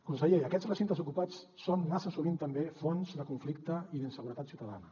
conseller aquests recintes ocupats són massa sovint també fonts de conflicte i d’inseguretat ciutadana